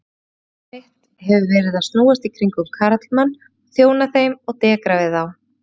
Lífsstarf mitt hefur verið að snúast í kringum karlmenn, þjóna þeim og dekra við þá.